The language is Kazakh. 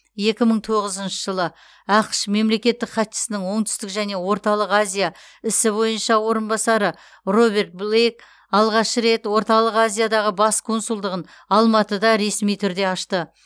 екі мың тоғызыншы жылы ақш мемлекеттік хатшысының оңтүстік және орталық азия ісі бойынша орынбасары роберт блейк алғаш рет орталық азиядағы бас консулдығын алматыда ресми түрде ашты